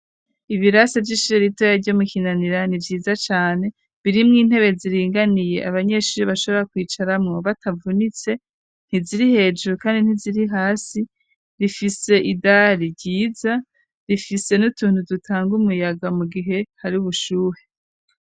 Ibirasi vyishire ritoya ryo mukinanira ni vyiza cane birimwo intebe ziringaniye abanyeshuri bashobora kwicaramwo batavunitse ntiziri hejuru, kandi ntiziri hasi rifise idali ryiza rifise n'utuntu dutanga umuyaga mu gihe hari ubushuhe.